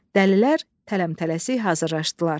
Dəlilər tələmtələsik hazırlaşdılar.